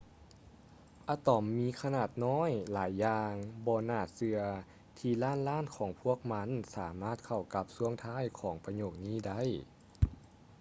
ອະຕອມມີຂະໜາດນ້ອຍຫຼາຍຢ່າງບໍ່ໜ້າເຊື່ອທີ່ລ້ານລ້ານຂອງພວກມັນສາມາດເຂົ້າກັບຊ່ວງທ້າຍຂອງປະໂຫຍກນີ້ໄດ້